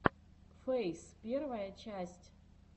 фейс первая часть